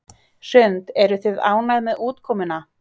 Hrund: Eruð þið ánægð með útkomuna?